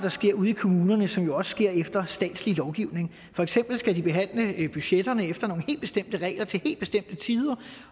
ude i kommunerne som også sker efter statslig lovgivning for eksempel skal de behandle budgetterne efter nogle helt bestemte regler til helt bestemte tider